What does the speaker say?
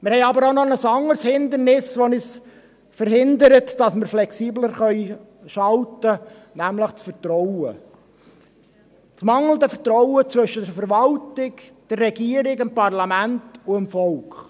Wir haben jedoch noch ein anderes Hindernis, welches verhindert, dass wir flexibler schalten können, nämlich das mangelnde Vertrauen zwischen der Verwaltung, der Regierung, dem Parlament und dem Volk.